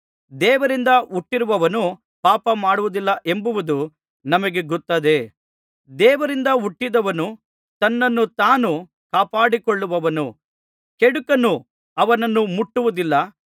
ದೇವರಿಂದ ಹುಟ್ಟಿರುವವನು ಪಾಪಮಾಡುವುದಿಲ್ಲವೆಂಬುದು ನಮಗೆ ಗೊತ್ತದೆ ದೇವರಿಂದ ಹುಟ್ಟಿದವನು ತನ್ನನ್ನು ತಾನು ಕಾಪಾಡಿಕೊಳ್ಳುವನು ಕೆಡುಕನು ಅವನನ್ನು ಮುಟ್ಟುವುದಿಲ್ಲ